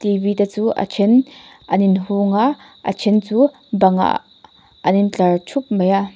te chu a ṭhen an in hung a a ṭhen chu bangah an in tlar thup mai a.